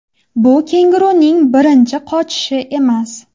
Bu kenguruning birinchi qochishi emas.